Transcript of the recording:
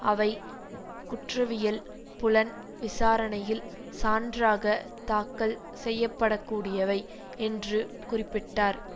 அவை குற்றவியல் புலன் விசாரணையில் சான்றாக தாக்கல் செய்ய பட கூடியவை என்று குறிப்பிட்டார்